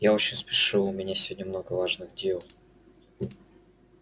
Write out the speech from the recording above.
я очень спешу у меня сегодня много важных дел